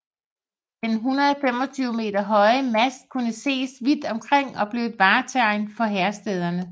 Den 125 meter høje mast kunne ses vidt omkring og blev et vartegn for Herstederne